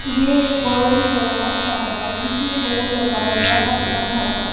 ये एक बहोत ही बड़ा ढाबा है जिसमें बोर्ड लगा हुआ है अपना ढाबा--